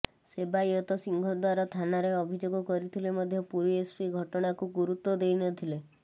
ସେବାୟତ ସିଂହଦ୍ୱାର ଥାନାରେ ଅଭିଯୋଗ କରିଥିଲେ ମଧ୍ୟ ପୁରୀ ଏସ୍ପି ଘଟଣାକୁ ଗୁରୁତ୍ୱ ଦେଇନଥିଲେ